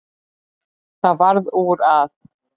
Það varð úr að